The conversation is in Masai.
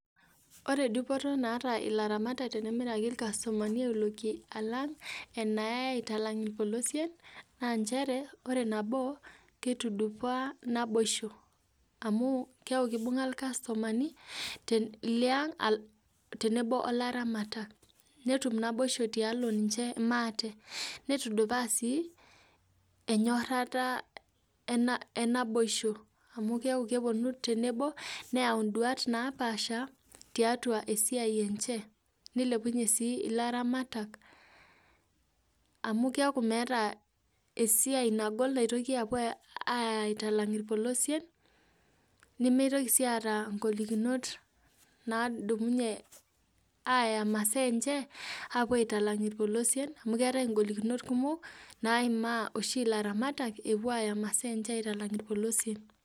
Ore dupoto naata ilaramatak tenemiraki auloki alang enayai aitalang irpolosien, na njere, ore nabo kitudupaa naboisho. Amu keeku kibung'a irkastomani, liang tenebo olaramatak. Netum naboisho tialo ninche maate. Nitudupaa si, enyorrata enaboisho. Amu keeku keponu tenebo, neu duat napaasha, tiatua esiai enche. Nilepunye si ilaramatak, amu keku meeta esiai nagol naitoki apuo aitalang irpolosien, nimitoki si aata golikinot nadumunye aya masaa enche, apuo aitalang irpolosien, amu keetae golikinot kumok, naimaa oshi laramatak, epuo aya masaa enche aitalang irpolosien.